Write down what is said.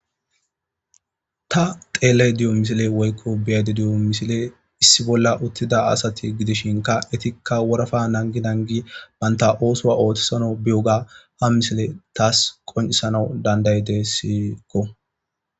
Ta xeellay diyo misile woykko biyade diyo misile issi bolla uttida asati gidishinka etikka worafa nangi nangi baynta oosoa oothisana biyoga ha misile taas qonisana dandayede siikko